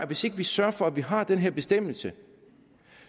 hvis ikke vi sørger for at vi har den her bestemmelse